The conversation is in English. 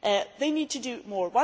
They need to do more.